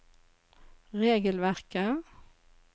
regelverket